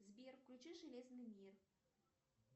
сбер включи железный мир